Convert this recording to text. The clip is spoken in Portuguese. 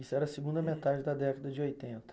Isso era a segunda metade da década de oitenta.